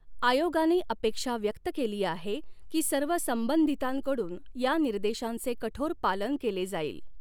आयोगाने अपॆक्षा व्यक्त केली आहे की सर्व संबंधितांकडून या निर्देशांचे कठोर पालन केले जाईल.